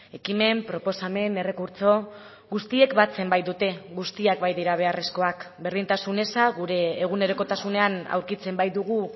ekimen proposamen errekurtso guztiek batzen baitute guztiak baitira beharrezkoak berdintasun eza gure egunerokotasunean aurkitzen baitugu